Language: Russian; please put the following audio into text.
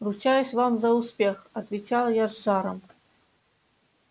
ручаюсь вам за успех отвечал я с жаром